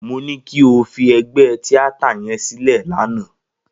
Mo ní kí o fi ẹgbẹ́ tíátà yẹn sílẹ̀ lánàá.